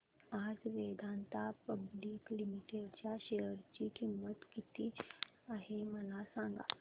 आज Vedanta public limited च्या share ची किंमत किती आहे मला सांगा